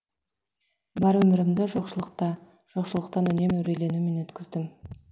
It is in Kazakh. бар өмірімді жоқшылықта жоқшылықтан үнемі үрейленумен өткіздім